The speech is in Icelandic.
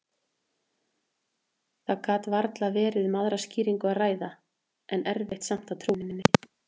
Það gat varla verið um aðra skýringu að ræða, en erfitt samt að trúa henni.